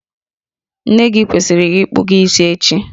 Nne gị kwesịrị ịkpụ gị isi echi